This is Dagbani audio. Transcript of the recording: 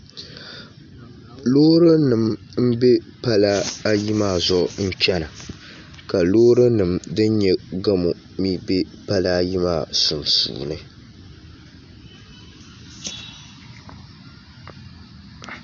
Loori nim n bɛ pala ayi maa zuɣu n chɛna ka loori nim din nyɛ gamo mii bɛ pala ayi maa sunsuuni